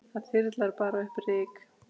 Það þyrlar bara upp ryki.